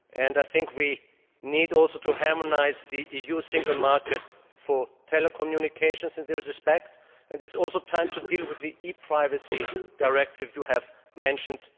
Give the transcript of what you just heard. I think we also need to harmonise the EU single market for telecommunications in this respect, and it is also time to deal with the ePrivacy Directive you yourself mentioned.